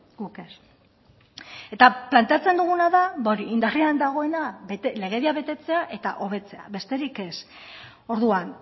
guk ez eta planteatzen duguna da indarrean dagoena betetzea legedia betetzea eta hobetzea besterik ez orduan